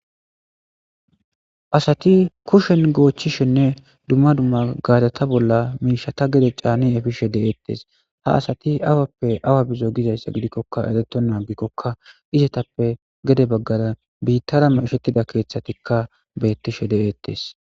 Asatti kuushshen gochchizenne dumma dumma gareththa bolla mishshatta gedde channidi dishshe be'ettes. Ha asatti awappe awa bizo gidayssa gidikokka erottona gidikokka izatappe gedde bagara bittara mishshettida keththattikka betishe de'ettes.